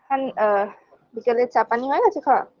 হ্যান আ বিকালে চা পানি হয়ে গেছে খাওয়া